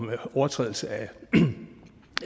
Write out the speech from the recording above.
overtrædelse af